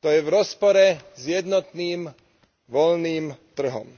to je v rozpore s jednotným voľným trhom.